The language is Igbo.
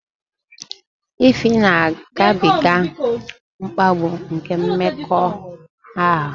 Ify na-agabiga mkpagbu nke mmekọahụ